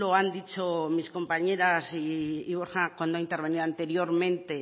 han dicho mis compañeras y borja cuando ha intervenido anteriormente